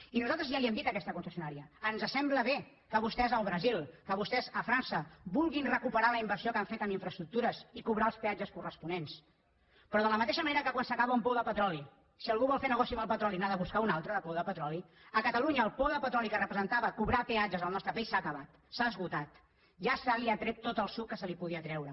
i nosaltres ja ho hem dit a aquesta concessionària ens sembla bé que vostès al brasil que vostès a frança vulguin recuperar la inversió que han fet en infraestructures i cobrar els peatges corresponents però de la mateixa manera que quan s’acaba un pou de petroli si algú vol fer negoci amb el petroli n’ha de buscar un altre de pou de petroli a catalunya el pou de petroli que representava cobrar peatges al nostre país s’ha acabat s’ha esgotat ja se n’ha tret tot el suc que se’n podia treure